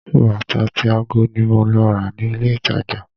Bàtà àti ago ni mo lọ rà ní ilé-ìtàjà